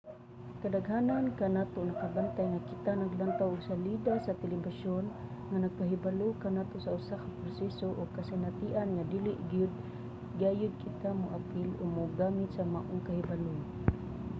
kadaghanan kanato nakabantay nga kita naglantaw og salida sa telebisyon nga nagpahibalo kanato sa usa ka proseso o kasinatian nga dili gayud kita moapil o mogamit sa maong kahibalo